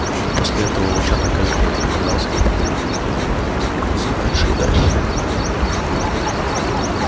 после этого волчонок каждый день отправлялся на прогулку и с каждым разом заходил всё дальше и дальше